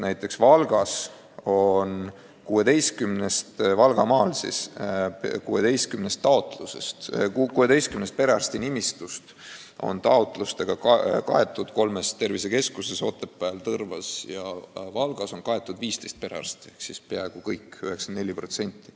Näiteks Valgamaal on 16 perearstinimistust taotlustega kaetud kolmes tervisekeskuses – Otepääl, Tõrvas ja Valgas – 15 perearsti ehk siis peaaegu kõik, 94%.